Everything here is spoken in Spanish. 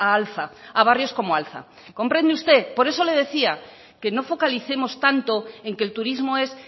a alza a barrios como alza comprende usted por eso le decía que no focalicemos tanto en que el turismo es